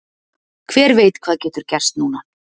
Hver veit hvað getur gerst núna?